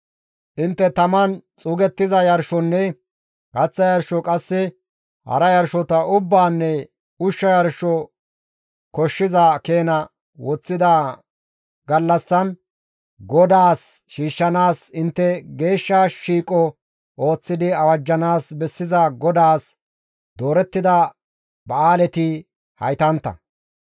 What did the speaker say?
«Intte taman xuugettiza yarshonne kaththa yarsho qasse hara yarshota ubbaanne ushsha yarsho koshshiza keena woththida gallassan GODAAS shiishshanaas intte geeshsha shiiqo ooththidi awajjanaas bessiza GODAAS doorettida ba7aaleti haytantta.